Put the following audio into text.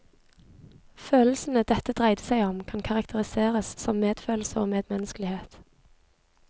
Følelsene dette dreide seg om, kan karakteriseres som medfølelse og medmenneskelighet.